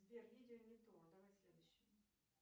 сбер видео не то давай следующее